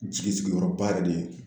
Jigi sigiyɔrɔba yɛrɛ de ye